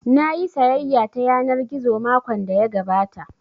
Nayi sayayya ta yanar gizo makon da ya gabata